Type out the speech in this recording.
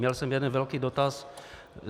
Měl jsem jeden velký dotaz.